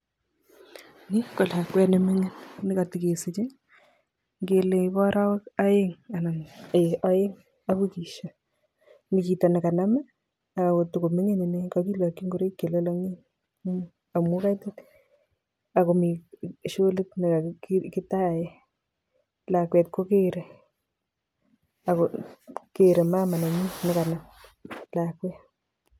Ni ko lakwet nemining nekatekesiche, ngele bo arawek aeng anan eeh aeng ak wikisiek, mi chito nekanam ako tokomining ine, kakilakchi ngoraik chelalangen amun kaitit ako mi sholit nekekitae. Lakwet kokerei ako keerei mama nenyin nekanam lakwet.